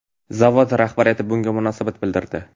Zavod rahbariyati bunga munosabat bildirdi.